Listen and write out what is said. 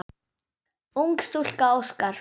Ung stúlka óskar.